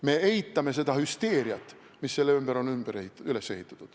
Me eitame seda hüsteeriat, mis selle ümber on üles ehitatud.